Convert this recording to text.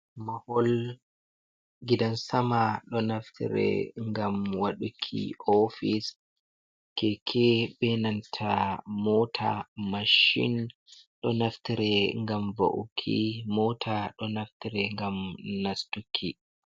Mahol Gidan Mama, ɗo Naftire ngam Waɗuki Ofis Keke, Benanta Mota, Machin ɗo Naftire ngam Wa’uki Mota ɗo Naftire ngam Nastuki.